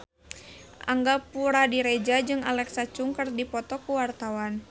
Angga Puradiredja jeung Alexa Chung keur dipoto ku wartawan